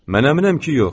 Mən əminəm ki, yox.